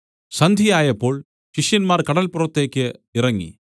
സന്ധ്യയായപ്പോൾ ശിഷ്യന്മാർ കടല്പുറത്തേക്ക് ഇറങ്ങി